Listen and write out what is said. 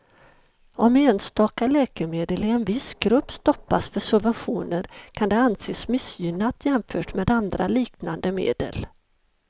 Om enstaka läkemedel i en viss grupp stoppas för subventioner kan det anses missgynnat jämfört med andra liknande medel.